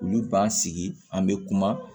Olu b'an sigi an be kuma